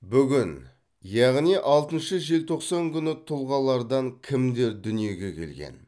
бүгін яғни алтыншы желтоқсан күні тұлғалардан кімдер дүниеге келген